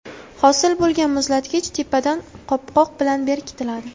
Hosil bo‘lgan muzlatkich tepadan qopqoq bilan berkitiladi.